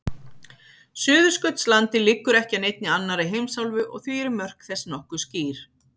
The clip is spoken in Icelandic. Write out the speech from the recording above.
Suðurskautslandið liggur ekki að neinni annarri heimsálfu og því eru mörk þess nokkuð skýr.